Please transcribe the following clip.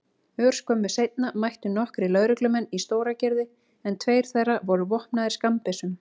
Örskömmu seinna mættu nokkrir lögreglumenn í Stóragerði en tveir þeirra voru vopnaðir skammbyssum.